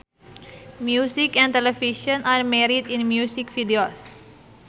Music and television are married in music videos